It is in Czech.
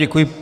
Děkuji.